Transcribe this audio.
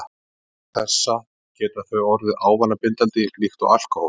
Vegna þessa geta þau orðið ávanabindandi líkt og alkóhól.